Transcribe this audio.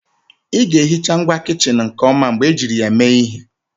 Ị ga-ehicha ngwa kichin nke ọma mgbe ejiri ya mee ihe